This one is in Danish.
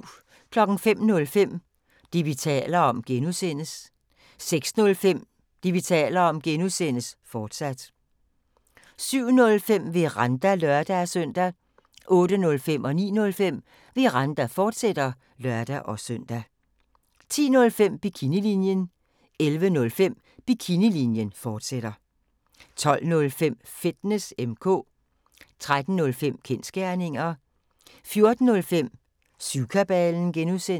05:05: Det, vi taler om (G) 06:05: Det, vi taler om (G), fortsat 07:05: Veranda (lør-søn) 08:05: Veranda, fortsat (lør-søn) 09:05: Veranda, fortsat (lør-søn) 10:05: Bikinilinjen 11:05: Bikinilinjen, fortsat 12:05: Fitness M/K 13:05: Kensgerninger 14:05: Syvkabalen (G)